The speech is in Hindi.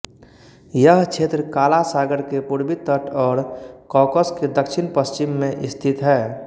यह क्षेत्र काला सागर के पूर्वी तट और कॉकस के दक्षिण पश्चिम में स्थित है